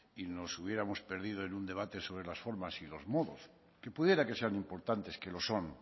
y nos hubiéramos perdido en un debate sobre las formas y los modos que pudiera que sean importantes que lo son